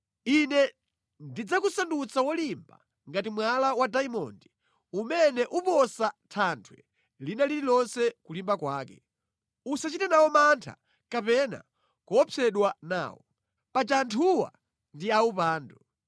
Ine ndidzakusandutsa wolimba ngati mwala wa dayimondi umene uposa thanthwe lina lililonse kulimba kwake. Usachite nawo mantha kapena kuopsedwa nawo. Paja anthuwa ndi awupandu.”